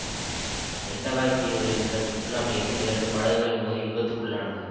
Mentawai தீவுகளில் உள்ள சுற்றுலா மையத்தில் இரண்டு படகுகள் மோதி விபத்துக்குள்ளானது